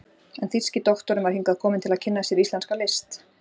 en þýski doktorinn var hingað kominn til að kynna sér íslenska list.